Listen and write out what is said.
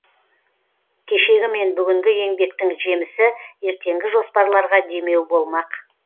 кешегі мен бүгінгі еңбектің жемісі ертеңгі жоспарларға демеу болмақ